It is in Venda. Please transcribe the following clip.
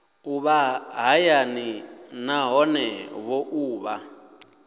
ṱuvha hayani nahone vho ṱuvha